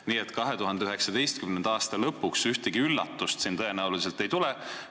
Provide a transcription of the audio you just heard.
Nii et 2019. aasta lõpuks ühtegi üllatust selles osas tõenäoliselt ei tule.